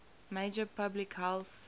major public health